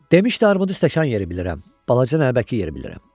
Demişdi armudu stəkan yeri bilirəm, balaca nəlbəki yeri bilirəm.